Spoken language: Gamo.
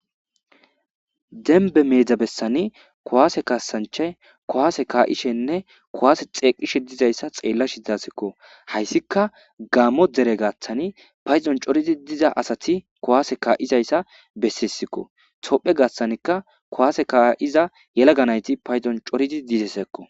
Dembba medda bessan kuwase kasanchay kuwase kaishene kuwase xelishe dizayssa xellashe daysiko hayssika gammo dere gaththan paydoy cori diza asati kuwase kaizayssa besesiko tophphiya gathanika kuwase kaiza yellaga nayti paydon cori dizaysako.